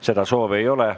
Seda soovi ei ole.